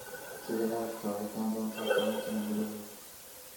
Sidee Afrika u ekaan doontaa toban sano gudahood?